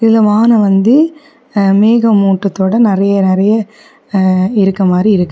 இதுல வானம் வந்து மேகம் மூட்டத்தொட நறிய நறிய இருக்க மாரி இருக்கு.